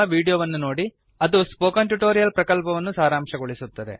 httpspoken tutorialorgWhat is a Spoken Tutorial ಅದು spoken tutorial ಪ್ರಕಲ್ಪವನ್ನು ಸಾರಾಂಶಗೊಳಿಸುತ್ತದೆ